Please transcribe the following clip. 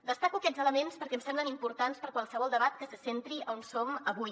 destaco aquests elements perquè em semblen importants per a qualsevol debat que se centri on som avui